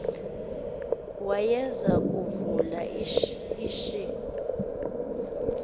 wayeza kuvula ishi